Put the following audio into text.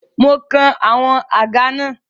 Mo kan àwọn àga náà.